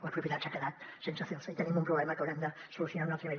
la propietat s’ha quedat sense celsa i tenim un problema que haurem de solucionar en un altre nivell